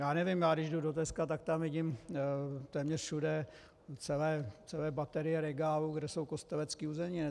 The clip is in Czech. Já nevím, já když jdu do Teska, tak tam vidím téměř všude celé baterie regálů, kde jsou kostelecké uzeniny.